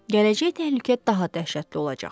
gələcək təhlükə daha dəhşətli olacaq.